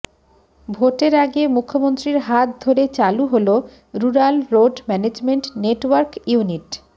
ভোটের আগে মুখ্যমন্ত্রীর হাত ধরে চালু হল rural road management network unit